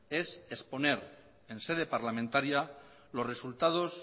es exponer en sede parlamentaria los resultados